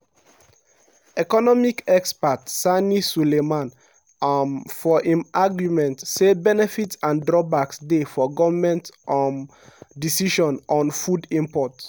economic expert sani sulaiman um for im arguement say benefits and drawbacks dey for goment um decision on food import.